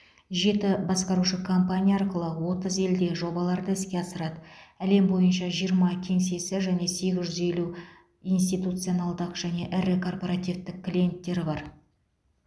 жеті басқарушы компания арқылы отыз елде жобаларды іске асырады әлем бойынша жиырма кеңсесі және сегіз жүз елу институционалдық және ірі корпоративтік клиенттері бар